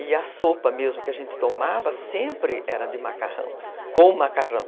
E a sopa mesmo que a gente tomava sempre era de macarrão, com macarrão.